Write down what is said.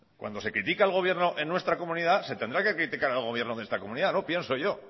cuando se critica al gobierno en nuestra comunidad se tendrá que criticar al gobierno de esta comunidad pienso yo